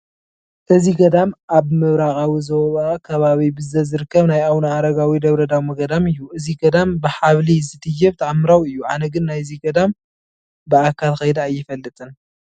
እዚ ገዳም ኣብ ምብራቓዊ ዞባ ከባቢ ብዘት ዝርከብ ናይ ኣቡነ ኣረጋዊ ደብረዳሞ ገዳም እዩ፡፡ እዚ ገዳም ብሓብሊ ዝድየብ ተኣምራዊ እዩ፡፡ ኣነ ግን ናይዚ ገዳም ብኣካል ከይደ ኣይፈልጥን፡፡